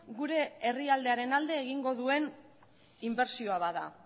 gure herrialdearen alde egingo duen inbertsioa da